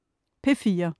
P4: